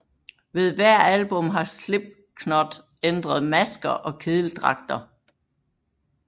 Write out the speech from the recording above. Ved hver album har Slipknot ændret masker og kedeldragter